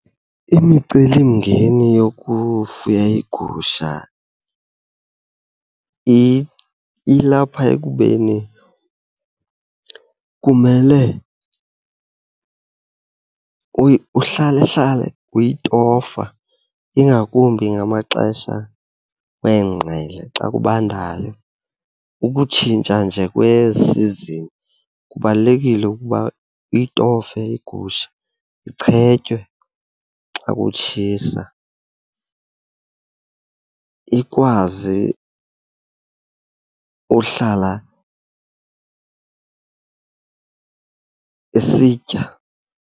Imicelimngeni yokufuya iigusha ilapha ekubeni kumele uhlalehlale uyitofa, ingakumbi ngamaxesha weengqele xa kubandayo. Ukutshintsha nje kweesizini kubalulekile ukuba uyitofe igusha, ichetyiwe xa kutshisa ikwazi uhlala isitya.